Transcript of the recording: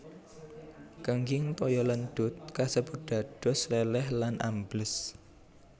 Kenging toya lendhut kasebut dados lèlèh lan ambles